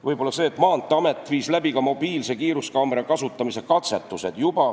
Võib-olla mainin seda, et Maanteeamet viis läbi ka mobiilsete kiiruskaamerate kasutamise katsetused.